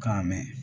K'a mɛn